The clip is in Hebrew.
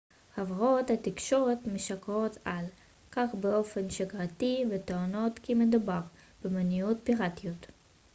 חברות התקשורת משקרות על כך באופן שגרתי וטוענות כי מדובר במניעת פיראטיות